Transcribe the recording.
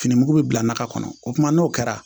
Fini mugu bɛ bila na ka kɔnɔ o kuma n'o kɛra